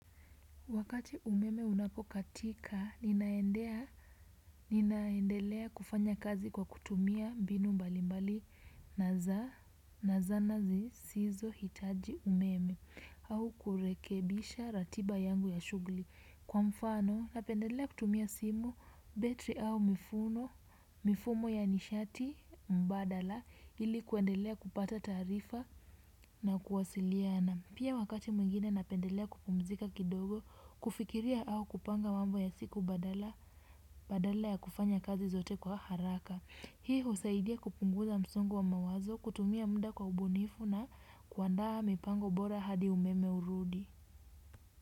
Wakati umeme unapokatika, ninaendelea kufanya kazi kwa kutumia mbinu mbali mbali na zana zisizohitaji umeme au kurekebisha ratiba yangu ya shughuli. Kwa mfano, napendelea kutumia simu betri au mifumo ya nishati mbadala ili kuendelea kupata taarifa na kuwasiliana. Pia wakati mwingine napendelea kupumzika kidogo, kufikiria au kupanga mambo ya siku badala ya kufanya kazi zote kwa haraka. Hii husaidia kupunguza msungo wa mawazo, kutumia muda kwa ubunifu na kuandaa mipango bora hadi umeme urudi.